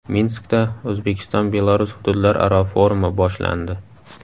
Minskda O‘zbekiston Belarus hududlararo forumi boshlandi.